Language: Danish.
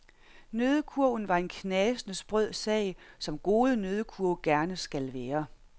Nøddekurven var en knasende sprød sag, som gode nøddekurve gerne skal være.